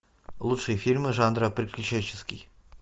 лучшие фильмы жанра приключенческий